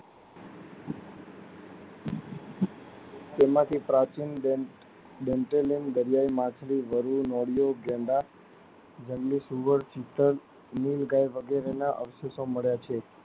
જેમાં થી પ્રાચીન ડેમ ડેનજેરલિંગ દારીયાય માછલી દારીયાય, નોળીઓ, ગેંડા, જંગલી સુવર, ચિતો નીલગાય વગેરે ના અવશેષો મળ્યા છે.